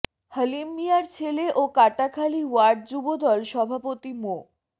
হালিম মিয়ার ছেলে ও কাটাখালী ওয়ার্ড যুবদল সভাপতি মো